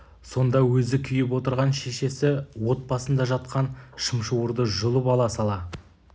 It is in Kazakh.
сонда өзі күйіп отырған шешесі от басында жатқан шымшуырды жұлып ала сала